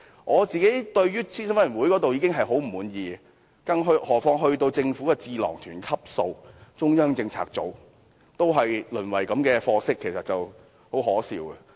我對於諮詢委員會已經很不滿，更何況是達到政府智囊團級數的中央政策組，看到它也淪為這種貨色，實在很可笑。